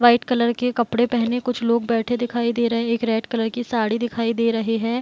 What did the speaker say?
White colour के कपड़े पहने कुछ लोग बैठे दिखाई दे रहे हैं | एक रेड कलर की साड़ी दिखाई दे रहे है ।